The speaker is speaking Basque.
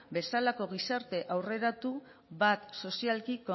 bezalako gizarte aurreratu bat sozialki